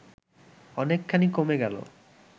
অনেকখানি কমে গেল